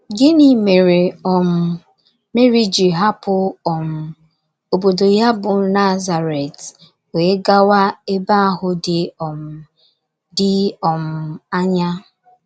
Gịnị mere um Meri ji hapụ um obodo ya bụ́ Nazaret wee gawa ebe ahụ dị um dị um anya?